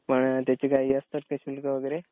पण त्याचे काही असतात का शुल्क वगैरे?